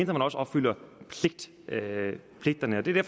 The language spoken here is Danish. man også opfylder pligterne og det er